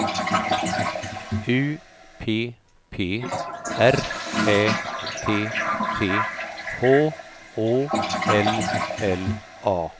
U P P R Ä T T H Å L L A